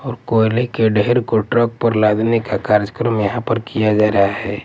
और कोयले के ढेर को ट्रक पर लादने का कार्यक्रम यहाँ पर किया जा रहा हैं ।